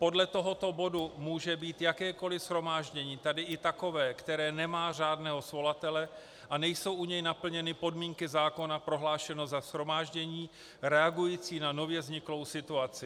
Podle tohoto bodu může být jakékoli shromáždění, tedy i takové, které nemá řádného svolatele a nejsou u něj naplněny podmínky zákona, prohlášeno za shromáždění reagující na nově vzniklou situaci.